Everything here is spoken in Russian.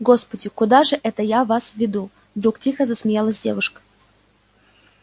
господи куда же это я вас веду вдруг тихо засмеялась девушка